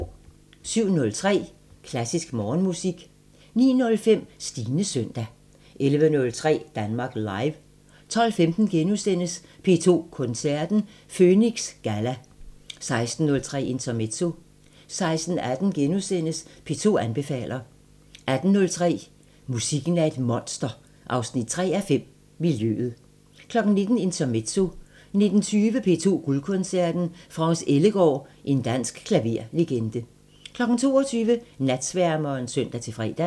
07:03: Klassisk Morgenmusik 09:05: Stines søndag 11:03: Danmark Live 12:15: P2 Koncerten – Føniks Galla * 16:03: Intermezzo 16:18: P2 anbefaler * 18:03: Musikken er et monster 3:5 – Miljøet 19:00: Intermezzo 19:20: P2 Guldkoncerten – France Ellegaard – en dansk klaverlegende 22:00: Natsværmeren (søn-fre)